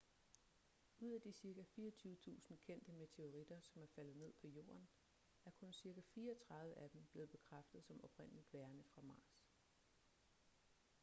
ud af de cirka 24.000 kendte meteoritter som er faldet ned på jorden er kun cirka 34 af dem blevet bekræftet som oprindeligt værende fra mars